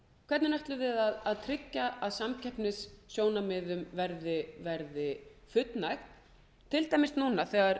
hvernig ætlum við að tryggja að samkeppnissjónarmiðum verði fullnægt til dæmis núna þegar